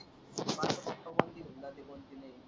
माझा पप्पा पण ती घेऊन जाते .